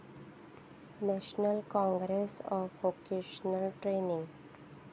national council for vocational training